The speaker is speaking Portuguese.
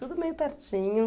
Tudo meio pertinho.